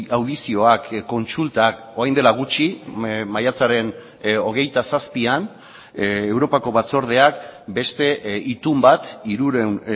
audizioak kontsultak orain dela gutxi maiatzaren hogeita zazpian europako batzordeak beste itun bat hirurehun